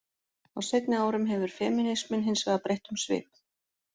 Á seinni árum hefur femínisminn hins vegar breytt um svip.